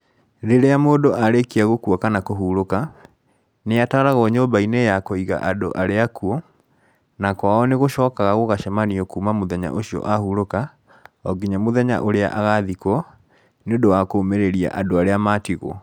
Rĩrĩa mũndu arĩkia gũkua kana kũhurũka, nĩ atwaragwo nyũmba-inĩ ya kũiga andũ arĩa akuũ, na kwao nĩ gũcokaga gũgacemanio kuuma mũthenya ũcio ahurũka,o nginya mũthenya ũrĩa agathikwo, nĩ ũndũ wa kũũmĩrĩria andũ arĩa maatigwo.